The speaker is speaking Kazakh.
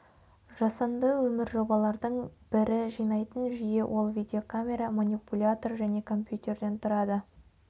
жасанды өмір жобалардың бірі жинайтын жүйе ол видеокамера манипулятор және компьютерден тұрады